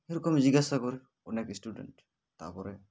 এরকমই জিজ্ঞাসা করে অনেক student তারপরে